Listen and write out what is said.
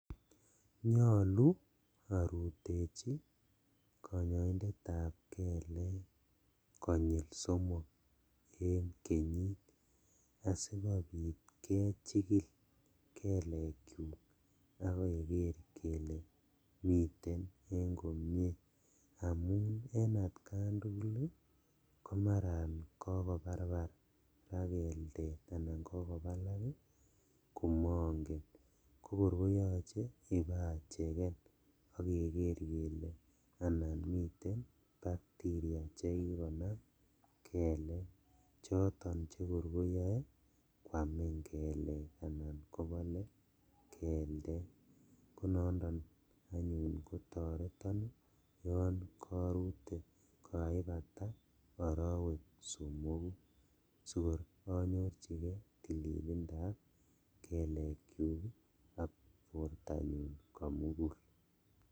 Nyolu orutechi konyoindetab keleek konyil somok en kenyit asikobit kechikil keleekyuk ak keker kele miten en komie amun en atkan tugul komaran kokobarbarak keltet anan kokobalal komongen kokor koyoche ibacheken ak keker kele anan miten bacteria chekikonam keleek choton chekor koyoe kwamin keleek anan kobole keltet konondon anyun kotoreton yon korute kokaibata orowek somoku sikor anyorjikee tililindab kelekyuk ok bortanyun komugul.